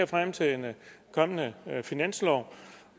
frem til en kommende finanslov